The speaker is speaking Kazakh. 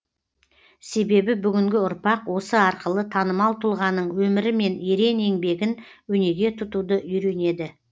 себебі бүгінгі ұрпақ осы арқылы танымал тұлғаның өмірі мен ерен еңбегін өнеге тұтуды үйренеді